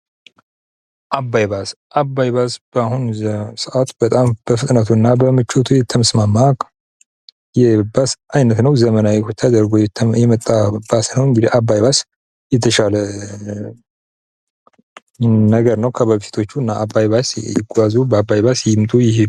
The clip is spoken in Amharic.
አባይ ባስ:- አባይ ባስ በአሁኑ ሰዓት በጣም በፍጥነቱ እና በምቾቱ የተስማማ የባስ አይነት ነዉ። ዘመናዊ ተደርጎ የመጣ ባስ ነዉ። እንግዲህ አባይ ባስ የተሻለ ነገር ነዉ። ከበፊቶቹ እና በአባይ ባስ ይጓዙ! በአባይ ባስ ይምጡ ይሂዱ!